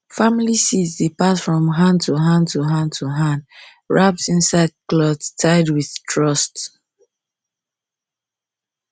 family seeds dey pass from hand to from hand to hand wrapped inside cloth tied with trust